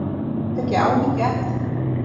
Er þetta ekki áhyggjuefni?